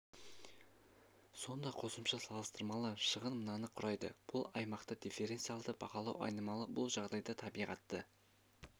сонда қосымша салыстырмалы шығын мынаны құрайды бұл аймақта дифференциалды бағалау айнымалы бұл жағдайда табиғатты